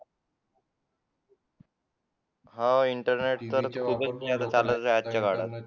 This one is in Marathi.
हा इंटरनेट चालतोय आजच्या काळात